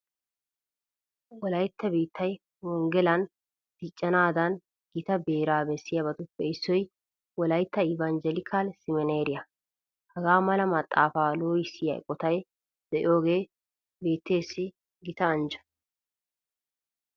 Wolaytta biittay wonggelan diccanaadan gita beeraa bessiyabatuppe issoy wolaytta ivanjjelikal semineeeriya. Hagaa mala maxaafaa loohissiya eqotati de'iyogee biitteessi gita anjjo.